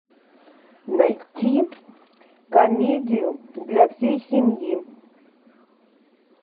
найти комедию для всей семьи